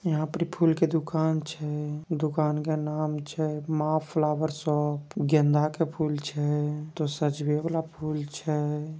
यहाँ परि फूल की दुकान छै। दुकान का नाम छै माँ फ्लावर शॉप । गेंदा के फूल छैछे जो सजवे वाला फूल छै ।